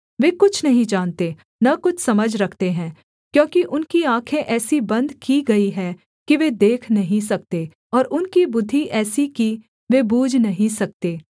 वे कुछ नहीं जानते न कुछ समझ रखते हैं क्योंकि उनकी आँखें ऐसी बन्द की गई हैं कि वे देख नहीं सकते और उनकी बुद्धि ऐसी कि वे बूझ नहीं सकते